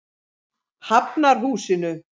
Hafnarhúsinu